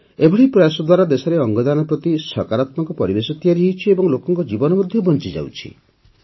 ଏପରି ପ୍ରୟାସ ଦ୍ୱାରା ଦେଶରେ ଅଙ୍ଗଦାନ ପ୍ରତି ସକାରାତ୍ମକ ପରିବେଶ ତିଆରି ହୋଇଛି ଓ ଲୋକଙ୍କ ଜୀବନ ମଧ୍ୟ ବଞ୍ଚିଯାଉଛି